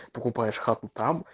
покупаешь хату там